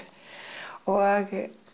og